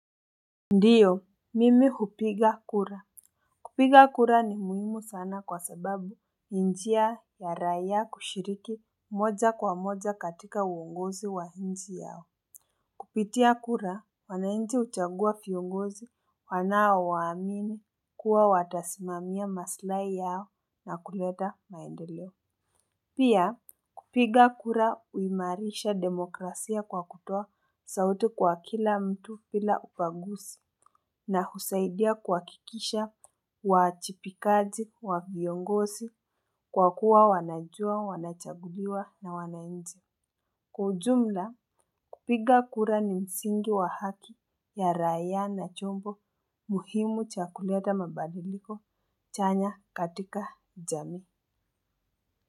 Ndiyo, mimi kupiga kura. Kupiga kura ni muhimu sana kwa sababu ni njia ya raia kushiriki moja kwa moja katika uongozi wa inchi yao. Kupitia kura, wanainchi huchagua kiongozi wanao waamini kuwa watasimamia masilai yao na kuleta maendeleo. Pia kupiga kura uimarisha demokrasia kwa kutoa sauti kwa kila mtu bila upaguzi. Na husaidia kuhakikisha uajibikaji wa viongozi kwa kuwa wanajua wanachaguliwa na wanainchi. Kwa ujumla kupiga kura ni msingi wa haki ya raia na chombo muhimu cha kuleta mabadiliko chanya katika jamii.